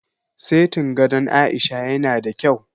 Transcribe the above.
Setin gadon Aisha ya na da kyau